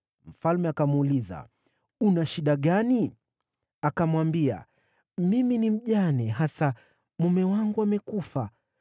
Mfalme akamuuliza, “Una shida gani?” Akamwambia, “Mimi ni mjane hasa, mume wangu amekufa.